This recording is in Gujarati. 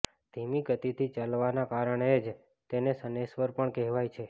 ધીમી ગતિથી ચાલવાના કારણે જ તેને શનૈશ્વર પણ કહેવાય છે